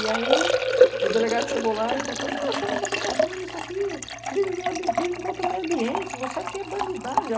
E aí, o delegado chegou lá e falou para ele, pô, eu chamo você que tá fazendo isso aqui, crime contra o meio ambiente, você aqui é bandidagem.